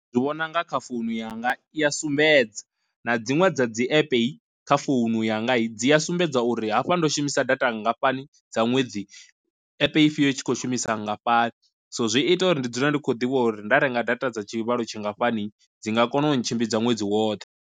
Ndi vhona unga kha founu yanga i a sumbedza na dziṅwe dza dzi app i kha founu yanga i dzi a sumbedza uri hafha ndo shumisa data nngafhani dza ṅwedzi, epe ifhio itshi kho shumisa ngafhani, so zwi ita uri ndi dzule ndi khou ḓivha uri nda renga data dza tshivhalo tshi ngafhani dzi nga kona u ntshimbidza ṅwedzi woṱhe.